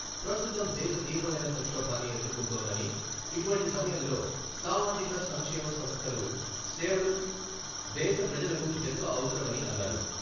ప్రస్తుతం దేశ తీవ్రమైన సంక్షోభాన్ని ఎదుర్కొంటోందని, ఇటువంటి సమయంలో సామాజిక సంక్షేమ సంస్థలు సేవలు దేశ ప్రజలకు ఎంతో అవసరమని అన్నారు.